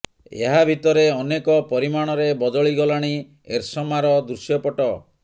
ଏହା ଭିତରେ ଅନେକ ପରିମାଣରେ ବଦଳି ଗଲାଣି ଏରସମାର ଦୃଶ୍ୟପଟ୍ଟ